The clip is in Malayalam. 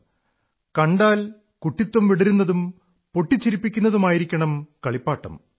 കളിപ്പാട്ടം കണ്ടാൽ കുട്ടിത്വം വിടരുന്നതും പൊട്ടിച്ചിരിപ്പിക്കുന്നതുമായിരിക്കണം കളിപ്പാട്ടം